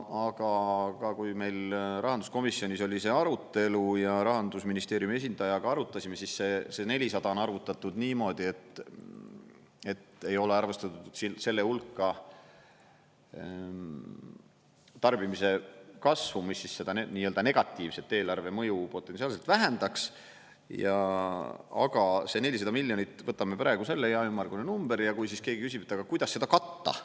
Aga kui meil rahanduskomisjonis oli see arutelu ja Rahandusministeeriumi esindajatega arutasime, siis see 400 on arvutatud niimoodi, et ei ole arvestatud selle hulka tarbimise kasvu, mis seda nii-öelda negatiivset eelarve mõju potentsiaalselt vähendaks, aga see 400 miljonit – võtame praegu selle, hea ümmargune number –, ja kui siis keegi küsib, et aga kuidas seda katta.